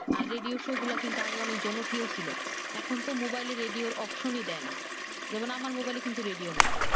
আর radio show গুলা কিন্তু অনেক জনপ্রিয় ছিলো এখন তো মোবাইলে রেডিও option দেয় না যেমন আমার মোবাইলে কিন্তু রেডিও নাই